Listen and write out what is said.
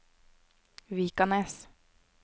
Vikanes